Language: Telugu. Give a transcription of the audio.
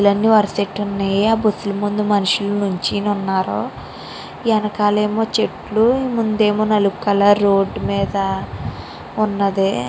బస్సు లు అన్ని వరస పెట్టి ఉన్నాయి ఆ బస్సు లు ముందు మనుషు లు నించొని ఉన్నారు వెనకాల ఏమో చెట్లు ముందు ఏమో నలుపు కలర్ రోడ్డు మేధ ఉన్నది.